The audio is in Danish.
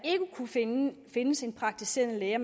jamen nu findes en praktiserende læge